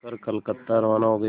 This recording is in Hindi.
कर कलकत्ता रवाना हो गए